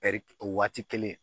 o waati kelen